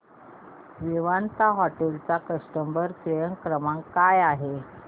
Vivanta hotel चा customer care क्रमांक काय आहे